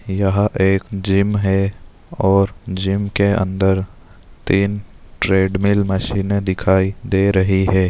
यहाँ एक जिम है और जिम के अंदर तीन ट्रेडमिल मशीने दिखाई दे रही है।